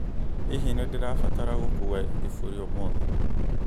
Hihi nĩ ndĩbataraga gũkuua iburi ũmũthĩ?